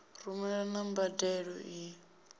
rumelwa na mbadelo i ṱo